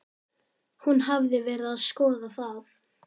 Hún hafði verið að skoða það.